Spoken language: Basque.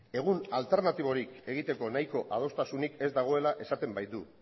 egun alternatiborik egiteko nahiko adostasunik ez dagoela esaten baitu